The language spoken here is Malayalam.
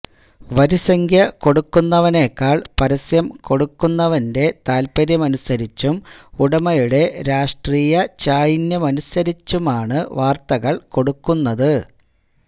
വരിസംഖ്യ കൊടുക്കുന്നവനേക്കാൾ പരസ്യം കൊടുക്കുന്നവന്റെ താൽപര്യമനസരിച്ചും ഉടമയുടെ രാഷ്ട്രീയ ചായ്വിനനുസരിച്ചുമാണ് വാർത്തകൾ കൊടുക്കുന്നത്